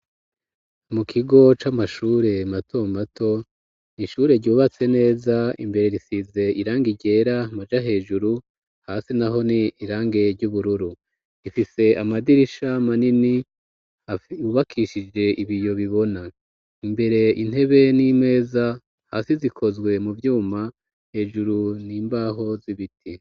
Mu kigo c'amashure mato mato ishure ryubatse neza .Imbere risize irangiryera maja hejuru hasi naho ni irange ry'ubururu ifise amadirisha manini yubakishije ibiyo bibona imbere intebe n'imeza hasi zikozwe mu vyuma hejuru n'imbaho z'ibiti.